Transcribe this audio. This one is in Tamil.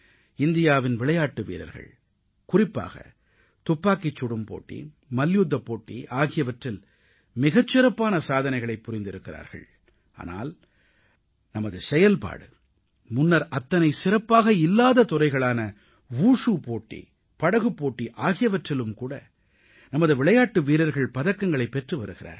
இந்தியாவின் விளையாட்டு வீரர்கள் குறிப்பாக துப்பாக்கிச் சுடும் போட்டி மல்யுத்தப் போட்டி ஆகியவற்றில் மிகச் சிறப்பான சாதனைகளைப் புரிந்திருக்கிறார்கள் ஆனால் நமது செயல்பாடு முன்னர் அத்தனை சிறப்பாக இல்லாத துறைகளான வுஷு போட்டி படகுப் போட்டி ஆகியவற்றிலும்கூட நமது விளையாட்டு வீரர்கள் பதக்கங்களைப் பெற்று வருகிறார்கள்